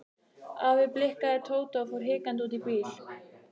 Afi blikkaði Tóta og fór hikandi út í bíl.